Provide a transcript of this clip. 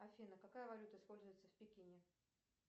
афина какая валюта используется в пекине